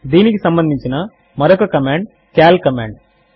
దీనికి సంబంధించిన మరొక కమాండ్ సీఏఎల్ కమాండ్